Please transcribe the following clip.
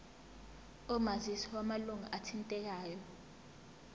omazisi wamalunga athintekayo